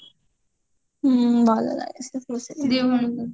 ହୁଁ ଭଲ ଲାଗେ ସେ ଦି ଭଉଣୀକୁ